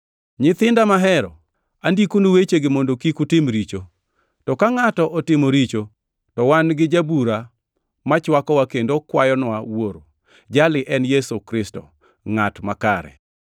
Nyithinda mahero, andikonu wechegi mondo kik utim richo. To ka ngʼato otimo richo, to wan gi Jabura machwakowa kendo kwayonwa Wuoro; Jali en Yesu Kristo, Ngʼat Makare.